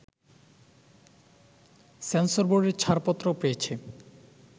সেন্সরবোর্ডের ছাড়পত্র পেয়েছে